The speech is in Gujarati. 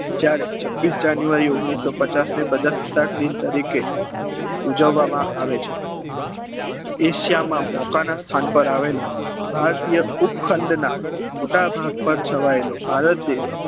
જયારે છવીસ જાન્યુઆરી ઓગ્નીસો પચાસ ને પ્રજાસત્તાક દિન તરીકે ઉજવામાં આવે છે એશિયામાં મોકાના સ્થાન પર આવેલો ભારતીય ઉપ ખંડ ના મોટા ભાગ પર છવાયેલો ભારત દેશ